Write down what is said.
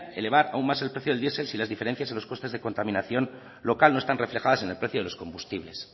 elevar aún más el precio del diesel si las diferencias en los costes de contaminación local no están reflejadas en el precio de los combustibles